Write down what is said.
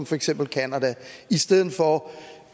for eksempel canada i stedet for